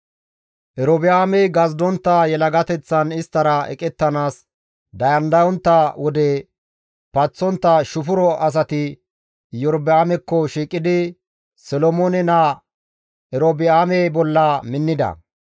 Erobi7aamey gazidontta yelagateththan isttara eqettanaas dandayontta wode paththontta shufuro asati Iyorba7aamekko shiiqidi Solomoone naa Erobi7aame bolla minnida.